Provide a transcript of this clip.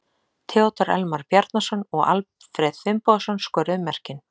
Theodór Elmar Bjarnason og Alfreð Finnbogason skoruðu mörkin.